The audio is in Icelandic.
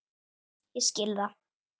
Ég skil það!